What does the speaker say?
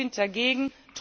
Wir sind dagegen.